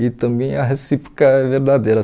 E também a recíproca é verdadeira.